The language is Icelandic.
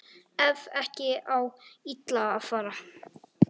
Ef ekki á illa að fara